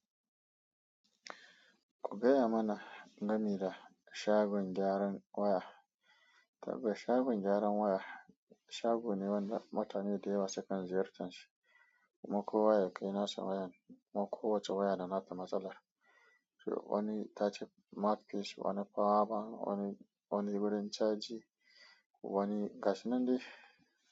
Ku gaya mana gameda shagon gyaran waya. Tabbas shagon gyaran waya, shago ne wanda mutane da yawa sukan ziyartar shi. Kuma kowa ya kai nasu wayan, kuma kowace waya da nata matsalar. Wani ta ci markis, wani fawa, wani, wani gurin caji, wani gashin nan dai.